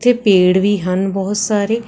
ਪੇੜ ਵੀ ਹਨ ਬਹੁਤ ਸਾਰੇ।